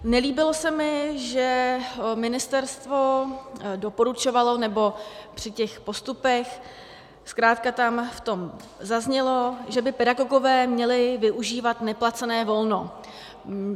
Nelíbilo se mi, že ministerstvo doporučovalo, nebo při těch postupech zkrátka tam v tom zaznělo, že by pedagogové měli využívat neplacené volno.